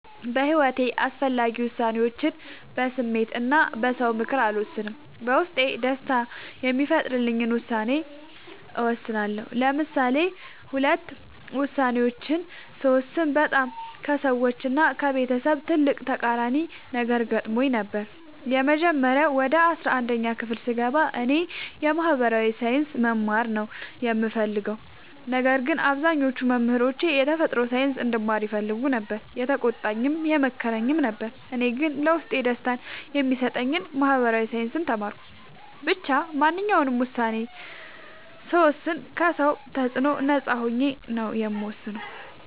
በሒወቴ አስፈላጊ ወሳኔዎችን በስሜት እና በ ሰው ምክር አልወሰንም። በውስጤ ደስታን የሚፈጥርልኝን ውሳኔ እወስናለሁ። ለምሳሌ ሁለት ውሳኔዎችን ስወስን በጣም ከሰዎች እና ከቤተሰብ ትልቅ ተቃራኒ ነገር ገጥሞኝ ነበር። የመጀመሪያው ወደ አስራአንድ ክፍል ስገባ እኔ የ ማህበራዊ ሳይንስ መማር ነው የምፈልገው። ነገር ግን አብዛኞቹ መምህሮቼ የተፈጥሮ ሳይንስ እንድማር ይፈልጉ ነበር የተቆጣኝም ነበር የመከረኝም ነበር እኔ ግን ለውስጤ ደስታን የሚሰጠኝን ማህበራዊ ሳይንስ ተማርኩ። ብቻ ማንኛውንም ውሳኔ ስወስን ከ ሰው ተፅዕኖ ነፃ ሆኜ ነው የምወስነው።